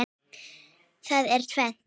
Það er tvennt.